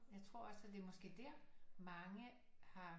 Jeg tror også at det er måske der mange har